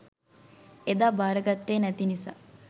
එදා බාරගත්තේ නැති නිසා